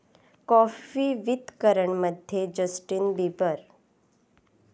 coffee with करण'मध्ये Justin Bieber